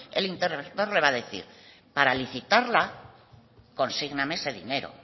el interventor le va a decir para licitarla consígname ese dinero